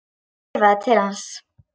Hún veifaði til hans.